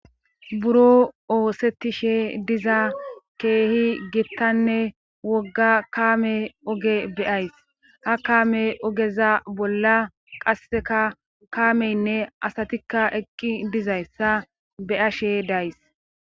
buroo oosettishe diza keehi gittanne wogga kaame oge be7ays ha kaame ogeza bolla qasseka kaameynne asatikka eqqi dizayssa be7ashe days.